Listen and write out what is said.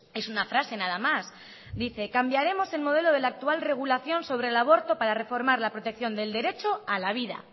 es una frase nada más dice cambiaremos el modelo de la actual regulación sobre el aborto para reformar la protección del derecho a la vida